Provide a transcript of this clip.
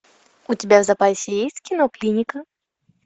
у тебя в запасе есть кино клиника